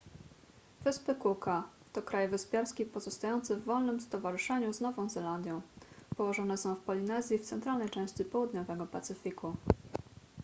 wyspy cooka to kraj wyspiarski pozostający w wolnym stowarzyszeniu z nową zelandią położone są w polinezji w centralnej części południowego pacyfiku